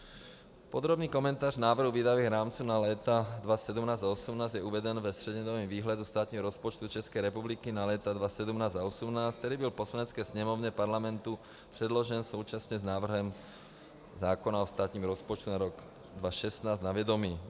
Podrobný komentář návrhu výdajových rámců na léta 2017 a 2018 je uveden ve střednědobém výhledu státního rozpočtu České republiky na léta 2017 a 2018, který byl Poslanecké sněmovně Parlamentu předložen současně s návrhem zákona o státním rozpočtu na rok 2016 na vědomí.